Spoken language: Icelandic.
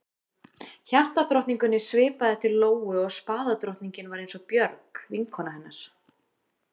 Hjartadrottningunni svipaði til Lóu og spaðadrottningin var eins og Björg, vinkona hennar.